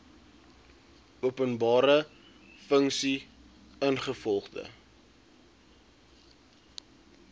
openbare funksie ingevolge